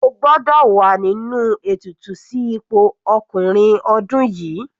O gbọ́dọ̀ wà nínú ètùtù sí ipò ọkùnrin ọdún yìí.